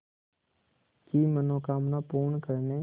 की मनोकामना पूर्ण करने